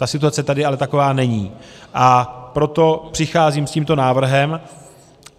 Ta situace tady ale taková není, a proto přicházím s tímto návrhem.